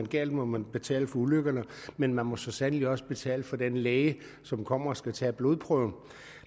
galt må man betale for ulykkerne men man må så sandelig også betale for den læge som kommer og skal tage blodprøven